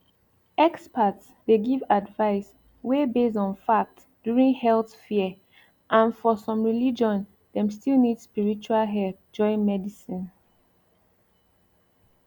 experts dey give advice wey base on fact during health fear and for some religion dem still need spiritual help join medicine